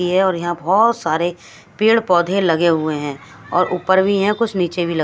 ये और यहां बहोत सारे पेड़ पौधे लगे हुए हैं और ऊपर भी हैं कुछ नीचे भी लगे--